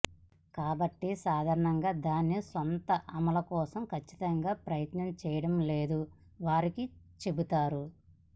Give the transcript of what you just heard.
కాబట్టి సాధారణంగా దాని స్వంత అమలు కోసం ఖచ్చితంగా ప్రయత్నం చేయడం లేదు వారికి చెబుతారు